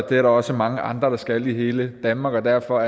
det er der også mange andre der skal i hele danmark og derfor